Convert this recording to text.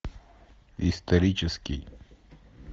исторический